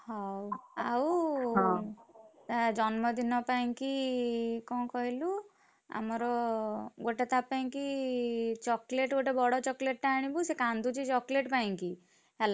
ହଉ ଆଉ ତା ଜନ୍ମ ଦିନ ପାଇଁକି, କଣ କହିଲୁ ଆମର ଗୋଟେ ତା ପାଇଁ କି chocolate ଗୋଟେ ବଡ chocolate ଆଣିବୁ, ସେ କାନ୍ଦୁଚି chocolate ପାଇଁ କି, ହେଲା।